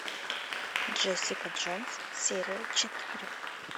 джессика джонс серия четыре